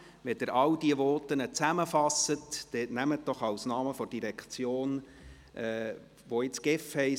Wenn Sie all diese Voten zusammenfassen, nehmen Sie doch als Namen der Direktion, die derzeit GEF heisst: